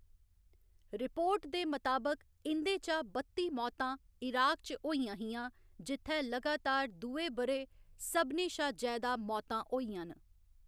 Report दे मताबक, इं'दे चा बत्ती मौतां इराक च होइयां हियां, जित्थै लगातार दुए ब'रै सभनें शा जैदा मौतां होइयां न।